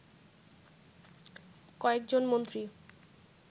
কয়েকজন মন্ত্রী